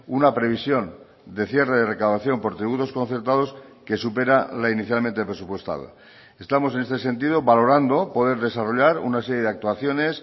una previsión de cierre de recaudación por tributos concertados que supera la inicialmente presupuestada estamos en este sentido valorando poder desarrollar una serie de actuaciones